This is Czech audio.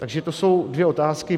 Takže to jsou dvě otázky.